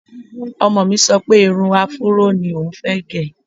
Ọmọ mi sọ pé irun afúró ní oùn fẹ́ gẹ̀